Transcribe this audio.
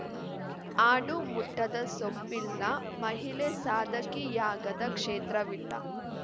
ಆಡು ಮುಟ್ಟದ ಸೊಪ್ಪಿಲ್ಲ ಮಹಿಳೆ ಸಾಧಕಿಯಾಗದ ಕ್ಷೇತ್ರವಿಲ್ಲ